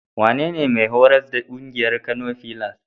Wanene mai horas da ƙungiyar Kano filas?